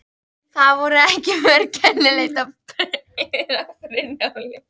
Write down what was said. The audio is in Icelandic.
Það voru ekki mörg kennileiti á leiðinni að Brunnhóli.